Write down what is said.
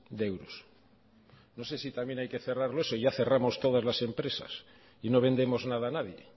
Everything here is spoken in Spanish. de euros no sé si también hay que cerrarlos o ya cerramos todas las empresas y no vendemos nada a nadie